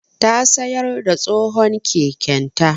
Ta sayar da tsohon keken ta